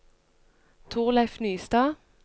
Thorleif Nystad